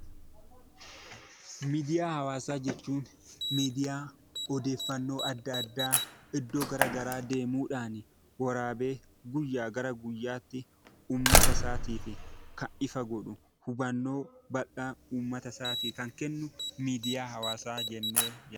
Miidiyaa hawaasaa jechuun miidiyaa odeeffannoo adda addaa iddoo gara garaa deemuudhaan waraabee guyyaa gara guyyaatti uummatasaatiif kan ifa godhu, hubannoo bal'aa uummata isaaf kan kennu miidiyaa hawaasaa jennee..